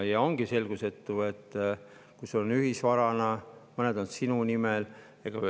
Ja ongi selgusetu,, kui sul on ühisvara ja mõned on sinu nimel.